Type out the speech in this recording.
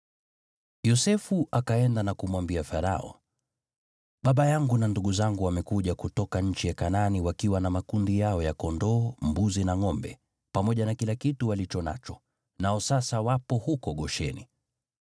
Yosefu akaenda na kumwambia Farao, “Baba yangu na ndugu zangu wamekuja kutoka nchi ya Kanaani wakiwa na makundi yao ya kondoo, mbuzi na ngʼombe, pamoja na kila kitu walicho nacho, nao sasa wapo huko Gosheni.”